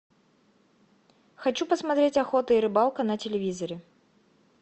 хочу посмотреть охота и рыбалка на телевизоре